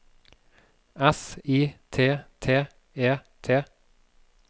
S I T T E T